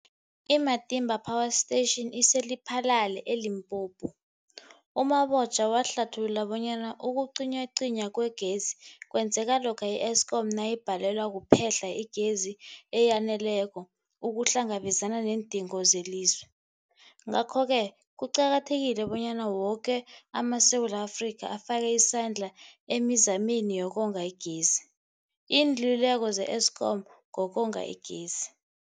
I-Matimba Power Station ise-Lephalale, eLimpopo. U-Mabotja wahlathulula bonyana ukucinywacinywa kwegezi kwenzeka lokha i-Eskom nayibhalelwa kuphe-hla igezi eyaneleko ukuhlangabezana neendingo zelizwe. Ngalokho-ke kuqakathekile bonyana woke amaSewula Afrika afake isandla emizameni yokonga igezi. Iinluleko ze-Eskom ngokonga igezi.